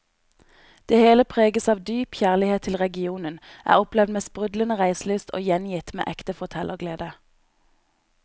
Det hele preges av dyp kjærlighet til regionen, er opplevd med sprudlende reiselyst og gjengitt med ekte fortellerglede.